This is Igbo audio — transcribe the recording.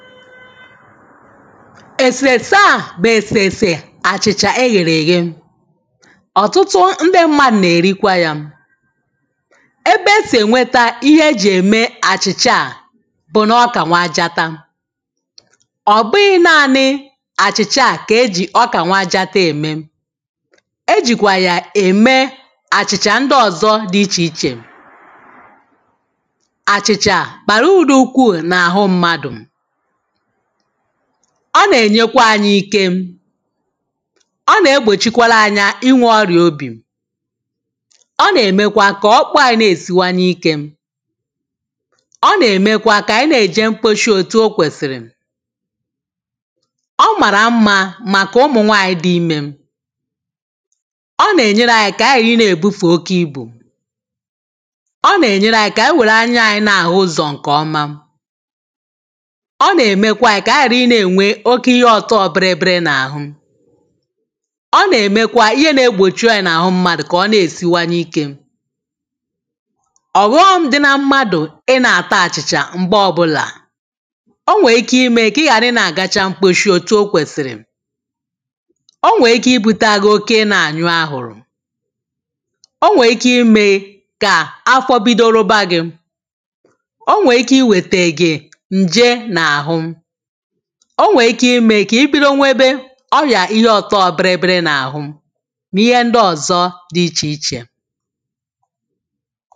esese a bụ esesè achịcha eghereghe ọtụtụ ndị mmadụ̄ na-erikwayà ebe e si enweta ihe e ji eme achịcha à bụ na ọka nwajatam ọ bụghị naanị achịcha à ka e ji ọka nwajatam eme e jikwa ya eme achịcha ndị ọzọ dị iche iche achịcha bara uru ukwu na ahụ mmadụ̄ ọ na-enyekwa anyị ike ọ na-egbochikwala anyị inwe ọrịa obī ọ na-emekwa ka ọkpụ anyị na-esiwanye ike ọ na-emekwa ka na-eje mkposhi otū o kwesiri ọ mara mma maka ụmụnwaanyị dị imē ọ na-enyere anyị ka gha ibufu oke ibu ọ na-enyere anyị ka were anya anyị na-ahụ ụzọ nke ọmà ọ na-emkwa anyị ka anyị ghara ịna enwe oke ihe ọtọbịrịrị na-ahụ ọ na-emekwa ihe na-egbochi oya na ahụ mmadụ̄ ka ọ na-esiwanyeike ọghọm dị mmadụ̄ ị na-ata achicha mgbe ọbụlà o nweike ime ka ị ghara ị na-agacha mkposhi otū o kwesiri o nweike ibuta gi oke ịna anyụ ahụrụ o nweike imee ka afọ bido rụba gị̄ o nweike iwete gị̄ nje na-ahụ o nweike ime ka i bido nwebe ọya ihe ọtọbịrịrị na ahụ ma ihe ndị ọzọ dị iche ichè